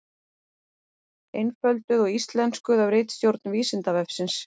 Einfölduð og íslenskuð af ritstjórn Vísindavefsins.